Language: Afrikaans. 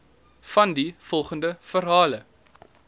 vandie volgende verhaal